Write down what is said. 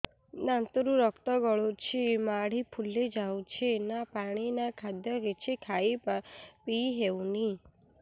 ଦାନ୍ତ ରୁ ରକ୍ତ ଗଳୁଛି ମାଢି ଫୁଲି ଯାଉଛି ନା ପାଣି ନା ଖାଦ୍ୟ କିଛି ଖାଇ ପିଇ ହେଉନି